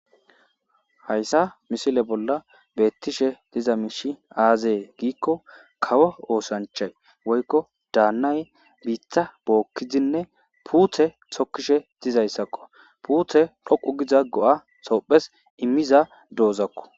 Haysa missile bolla bettishe diza mishiy aze giko kawo osanchay woykon danayi bitta bokidine putte tokishe dizaysako puttey dhoqu Giza go'a tophiyas immiza dozako